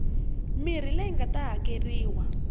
mirhi leyi nga ta hakeriwa